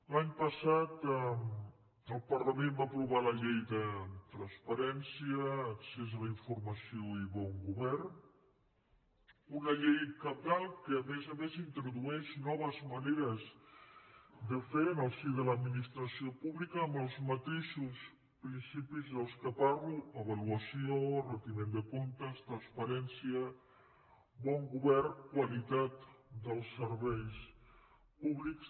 l’any passat el parlament va aprovar la llei de transparència accés a la informació i bon govern una llei cabdal que a més a més introdueix noves maneres de fer en el si de l’administració pública amb els mateixos principis dels quals parlo avaluació retiment de comptes transparència bon govern qualitat del serveis públics